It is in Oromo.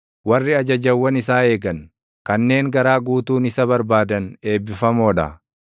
Warri ajajawwan isaa eegan, kanneen garaa guutuun isa barbaadan eebbifamoo dha.